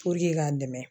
k'an dɛmɛ